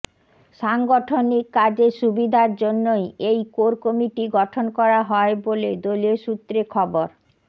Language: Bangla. সাংগঠনিক কাজের সুবিধার জন্যই এই কোর কমিটি গঠন করা হয় বলে দলীয় সূত্রে খবর